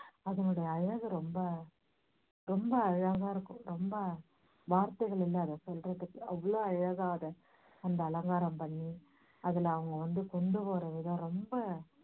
அதனுடைய அழகு ரொம்ப ரொம்ப அழகா இருக்கும் ரொம்ப வார்த்தைகள் இல்ல அதை சொல்லுறதுக்கு அவ்வளோ அழகா அதை அந்த அலங்காரம் பண்ணி அதுல அவங்க வந்து கொண்டு போறதுதான் ரொம்ப